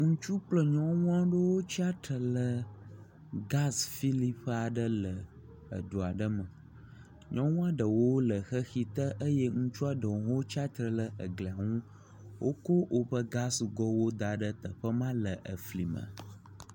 Ŋutsu kple nyɔnuwo yigas fili ƒe aɖe le edu aɖe me. Nyɔnua ɖewo le xexi te eye ŋutsua ɖewo tsatsitre ɖe egli ŋu. woko woƒe gas gowo da ɖe teƒe ma le efli me.